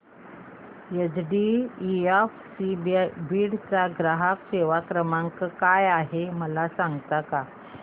HDFC Beed चा ग्राहक सेवा क्रमांक काय आहे मला सांगता का